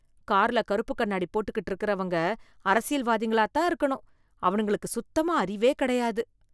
கார்ல கறுப்புக் கண்ணாடி போட்டுக்கிட்டு இருக்கிறவங்க அரசியல்வாதிங்களாத் தான் இருக்கணும், அவனுங்களுக்கு சுத்தமா அறிவே கிடையாது